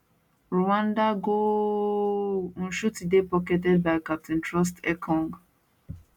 rwanda goooaaalllll nshuti dey pocketed by captain troostekong